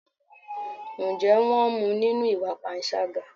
Ǹjẹ́ wón mú nínú ìwà panṣágà?